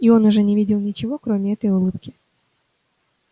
и он уже не видел ничего кроме этой улыбки